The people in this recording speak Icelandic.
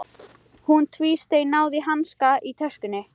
Hún tvísteig, náði í hanska í töskunni.